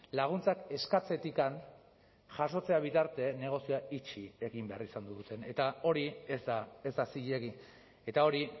laguntzak eskatzetik jasotzea bitarte negozioa itxi egin behar izan duten eta hori ez da ez da zilegi eta hori